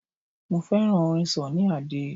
Mo fẹ́ràn orin Sunny Adé.